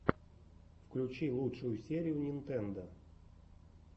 включи лучшую серию нинтендо